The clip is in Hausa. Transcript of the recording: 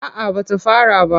A'a ba ta fara ba.